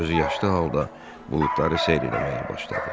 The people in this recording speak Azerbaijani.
Gözü yaşlı halda buludları seyr eləməyə başladı.